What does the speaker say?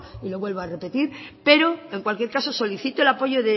y lo vuelvo a repetir pero en cualquier caso solicito el apoyo